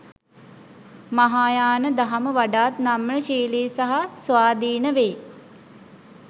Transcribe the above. මහායාන දහම වඩාත් නම්‍යශීලී සහ ස්වාධීන වෙයි.